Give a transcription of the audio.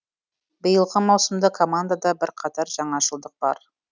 биылғы маусымда командада бірқатар жаңашылдық бар